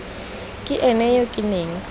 ke ene yo ke neng